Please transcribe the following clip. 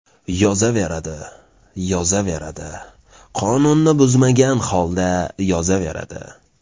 Yozaveradi, yozaveradi, qonunni buzmagan holda yozaveradi.